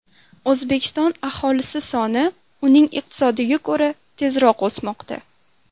O‘zbekiston aholisi soni uning iqtisodiga ko‘ra tezroq o‘smoqda.